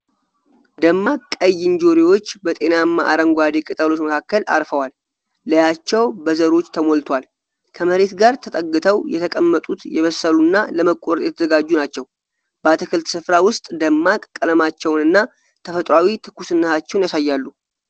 ደማቅ ቀይ እንጆሪዎች በጤናማ አረንጓዴ ቅጠሎች መካከል አርፈዋል፤ ላያቸው በዘሮች ተሞልቷል። ከመሬት ጋር ተጠግተው የተቀመጡት የበሰሉና ለመቆረጥ የተዘጋጁ ናቸው። በአትክልት ስፍራ ውስጥ ደማቅ ቀለማቸውንና ተፈጥሯዊ ትኩስነታቸውን ያሳያሉ።